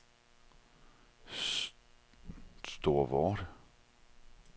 Storvorde